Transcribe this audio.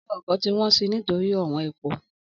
Ọ̀wo ọ̀kọ́ tí won ṣí nitori ọ̀won ẹpó